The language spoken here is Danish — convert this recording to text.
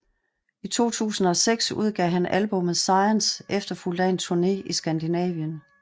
I 2006 udgav han albummet Science efterfulgt af en turné i Skandinavien